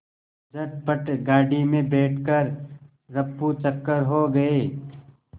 झटपट गाड़ी में बैठ कर ऱफूचक्कर हो गए